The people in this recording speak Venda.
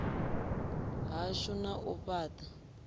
hashu na u fhat a